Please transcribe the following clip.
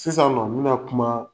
Sisan nɔ n bi na kuma